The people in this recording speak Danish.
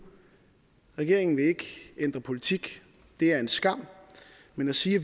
regeringen vil ikke ændre politik det er en skam men at sige